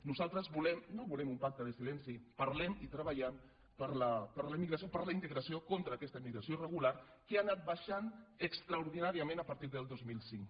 nosaltres no volem un pacte de silenci parlem i treballem per a la immigració per a la integració contra aquesta immigració irregular que ha anat baixant extraordinàriament a partir del dos mil cinc